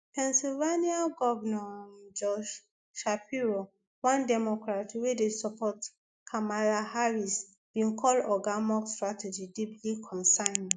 pennsylvania governor josh shapiro one democrat wey dey support kamala harris bin call oga musk strategy deeply concerning